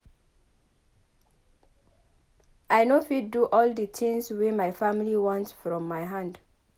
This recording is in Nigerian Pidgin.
I no fit do all di tins wey my family want from my hand.